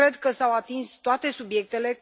Cred că s au atins toate subiectele.